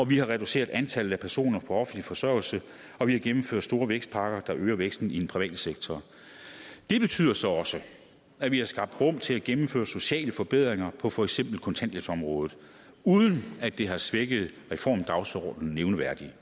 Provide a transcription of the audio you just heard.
vi har reduceret antallet af personer på offentlig forsørgelse og vi har gennemført store vækstpakker der øger væksten i den private sektor det betyder så også at vi har skabt rum til at gennemføre sociale forbedringer på for eksempel kontanthjælpsområdet uden at det har svækket reformdagsordenen nævneværdigt